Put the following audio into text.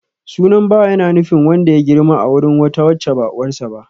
Sunan Bawa ya na nufin wanda ya girma a wurin wata wacce ba uwarsa ba.